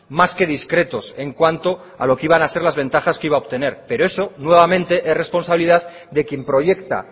más que discretos en cuanto a lo que iban a ser las ventajas que iba a obtener pero eso nuevamente es responsabilidad de quien proyecta